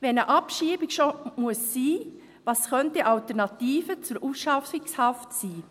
Wenn eine Abschiebung schon sein muss, was könnten Alternativen zur Ausschaffungshaft sein?